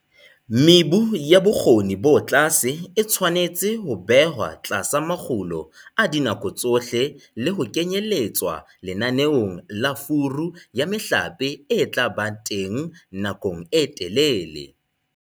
Mebu ya bokgoni bo tlase e tshwanetse ho behwa tlasa makgulo a dinako tsohle le ho kenyelletswa lenaneong la furu ya mehlape e tla ba teng nakong e telele.